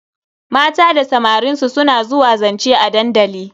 Mata da samarin su suna zuwa zance a dandali.